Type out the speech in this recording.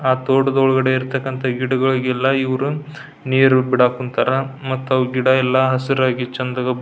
ಆ ತೋಟದೊಳಗಡೆ ಇರ್ತಕ್ಕಂತ ಗಿಡಗಳಿಗೆಲ್ಲ ಇವ್ರು ನೀರ್ ಬಿಡಾಕೊಂತರ ಮತ್ತವು ಗಿಡ ಎಲ್ಲ ಹಸಿರಾಗಿ ಚಂದ ಗಂ --